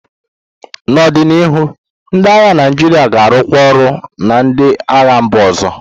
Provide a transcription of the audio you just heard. N'ọdịnihu, ndị agha Naijiria ga-arụkọ ọrụ na ndị agha mba ọzọ.